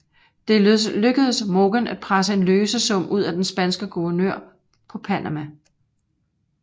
Det lykkedes Morgan at presse en løsesum ud af den spanske guvernør på Panama